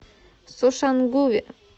сошангуве